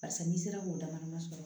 Barisa n'i sera k'o damadama sɔrɔ